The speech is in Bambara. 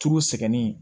Turu sɛgɛn